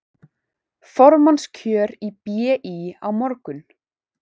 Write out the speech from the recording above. Formannskjör í BÍ á morgun